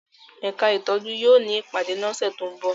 Ẹka itọju yóò ni ipade ni ọsẹ to nbọ